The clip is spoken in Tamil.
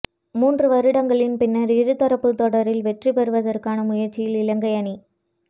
மூன்று வருடங்களின் பின்னர் இருதரப்பு தொடரில் வெற்றிபெறுவதற்கான முயற்சியில் இலங்கை அணி